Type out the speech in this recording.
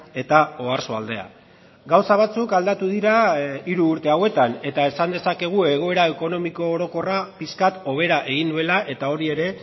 eta oarsoaldea gauza batzuk aldatu dira hiru urte hauetan eta esan dezakegu egoera ekonomiko orokorra pixkat hobera egin duela eta hori ere